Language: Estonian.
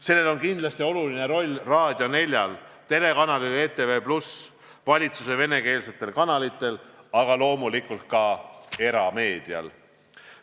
Sellel oli kindlasti oluline roll Raadio 4-l, telekanalil ETV+, valitsuse venekeelsetel kanalitel, aga loomulikult ka erameedial.